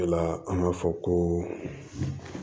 O de la an b'a fɔ ko